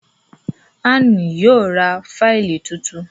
Ann yíò rá Fáìlì títún.